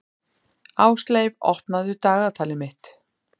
Ásleif, opnaðu dagatalið mitt.